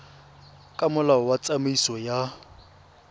ka molao wa tsamaiso ya